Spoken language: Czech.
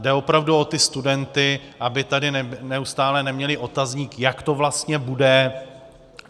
Jde opravdu o ty studenty, aby tady neustále neměli otazník, jak to vlastně bude.